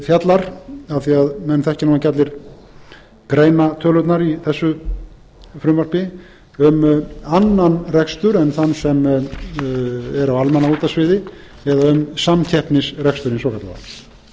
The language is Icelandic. fjallar af því að menn þekkja nú ekki allir greinatölurnar í þessu frumvarpi um annan rekstur en af því að menn þekkja nú ekki allir greinatölurnar í þessu frumvarp um annan rekstur en þann sem er á almannaútvarpssviði eða um samkeppnisreksturinn svokallaða